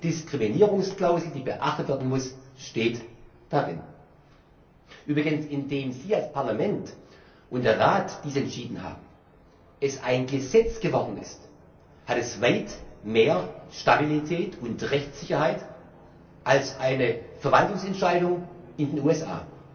Eine klare Anti Diskriminierungsklausel, die beachtet werden muss, steht darin. Übrigens Indem Sie als Parlament und der Rat dies entschieden haben, es ein Gesetz geworden ist, hat es weit mehr Stabilität und Rechtssicherheit als eine Verwaltungsentscheidung in den USA,